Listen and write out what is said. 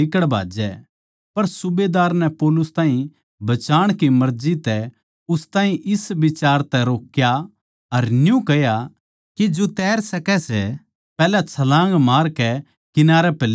पर सूबेदार नै पौलुस ताहीं बचाण की मर्जी तै उन ताहीं इस बिचार तै रोक्या अर न्यू कह्या के जो तैर सकै सै पैहल्या छलाँग मारकै किनारै पै लिकड़ जावैं